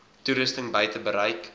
toerusting buite bereik